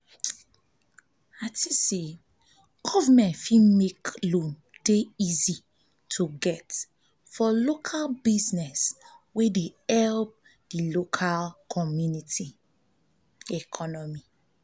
government fit make loan dey easy to get for local business wey dey help di local community economy